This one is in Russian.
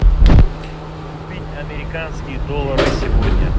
купить американские доллары сегодня